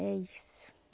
É isso.